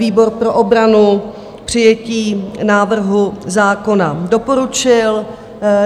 Výbor pro obranu přijetí návrhu zákona doporučil.